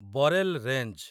Barail range